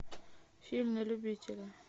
фильм на любителя